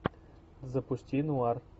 запусти нуар